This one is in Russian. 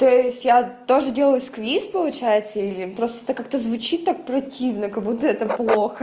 то есть я тоже делаю сквиз получается или просто это как-то звучит так противно как будто это плохо